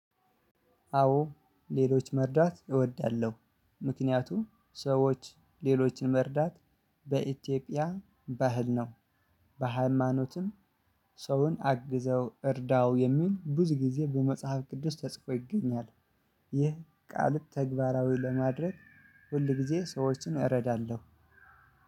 አዎ። ሌሎች መርዳት እወዳለሁ። ምክንያቱም ሰዎች ሌሎችን መርዳት በኢትዮጵያ ባህል ነው። በሃይማኖትም ሰውን አግዘው፣ እርዳው የሚል ብዙ ጊዜ በመጽሐፍ ቅዱስ ተጽፎ ይገኛል። ይህ ቃል ተግባራዊ ለማድረግ፤ ሁል ጊዜ ሰዎችን እረዳለሁ።